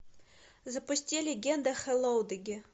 запусти легенда хэллоудеги